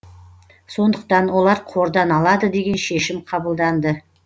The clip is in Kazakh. сондықтан олар қордан алады деген шешім қабылданды